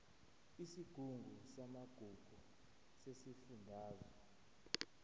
isigungu samagugu sesifundazwe